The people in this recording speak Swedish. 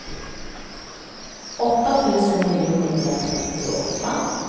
åtta tusen niohundratrettioåtta